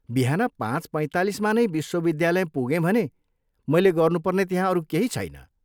बिहान पाँच पैँतालिसमा नै विश्वविद्यालय पुगेँ भने मैले गर्नुपर्ने त्यहाँ अरू केही छैन।